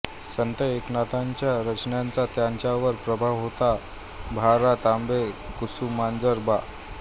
संत एकनाथांच्या रचनांचा त्यांच्यावर प्रभाव होता भा रा तांबे कुसुमाग्रज बा